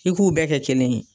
I k'u bɛɛ kɛ kelen ye.